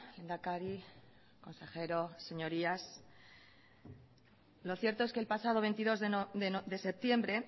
lehendakari consejero señorías lo cierto es que el pasado veintidós de septiembre